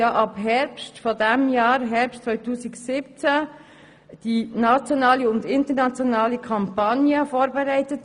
Ab Herbst 2017 wird die nationale und internationale Kampagne vorbereitet.